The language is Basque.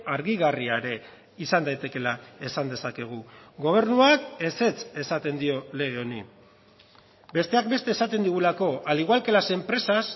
argigarria ere izan daitekeela esan dezakegu gobernuak ezetz esaten dio lege honi besteak beste esaten digulako al igual que las empresas